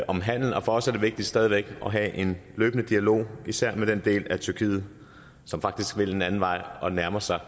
om handel og for os er det vigtigt stadig væk at have en løbende dialog især med den del af tyrkiet som faktisk vil en anden vej og nærmer sig